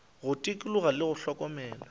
go tikologo le go hlokomela